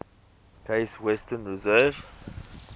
case western reserve